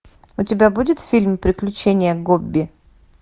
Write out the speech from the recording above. у тебя будет фильм приключения гобби